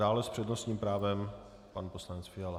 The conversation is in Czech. Dále s přednostním právem pan poslanec Fiala.